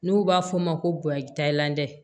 N'u b'a f'o ma ko bonyalandɛ